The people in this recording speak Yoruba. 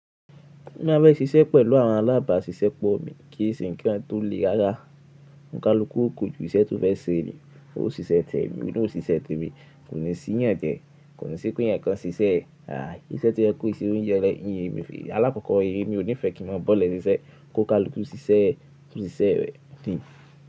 Mo máa fẹ́ ṣiṣẹ́ pẹ̀lú àwọn alábàáṣiṣẹ́ pọ mi kí èé sìn kí wọn tó le rárá. Nǹkan lókù kù ju iṣẹ́ tó fẹ́ ṣe mi, ó sì ṣẹ tẹ mi, òun ó sì ṣẹ tẹ mi, kò ní sì yàn tẹ, kò ní sì pín ẹ̀ẹ̀kan ṣiṣẹ́. Àí, iṣẹ́ tó yẹ kó ṣe oúnjẹ rẹ nìyí mi, alákọ̀ọ́kọ́ èyí ni mi ò ní fẹ́ kí mọ bọ́lẹ̀ ṣiṣẹ́ kó ká lókù sí ṣẹ́ ẹ, kò sì ṣẹ́ ẹ́ fi.